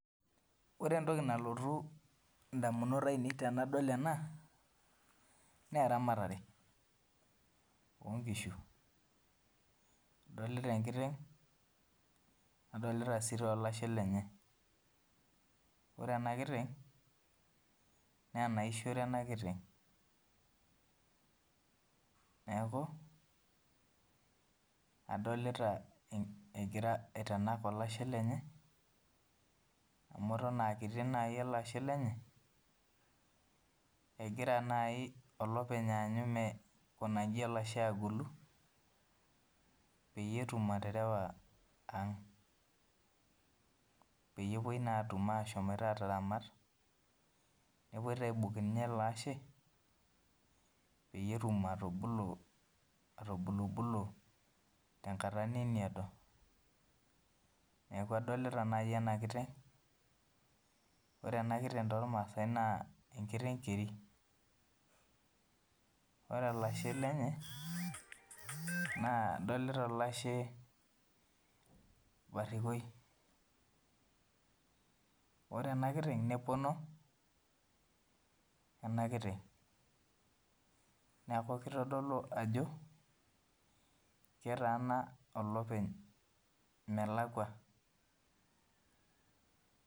Ore entoki nalotu ndamunot ainei tanadol ena na eramatare onkishu adolta enkiteng nadolta si olashe lenye ore enakiteng na enaishore enakiteng adolta egira aitanan olashe lenyeamu aton aa kiti olashe lenye, egira nai olopeny aisho olashe metagolu petum aterewa aang peyie epuoi na atum ataramat nepuoibaibung eleashe petum atubulu atubulubulu tenkata nemeedo neaku adolta nai enakiteng ore enakiteng tormaasa na enkiteng keri na ore olashe lenye adolta olashe barikoi ore enakiteng nepono enakiteng neaku kitadolu ajo ketaana olopeny melakwa.